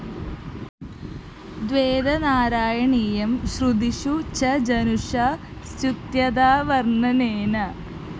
ദ്വേധാ നാരായണീയം ശ്രുതിഷു ച ജനുഷാ സ്തുത്യതാവര്‍ണ്ണനേന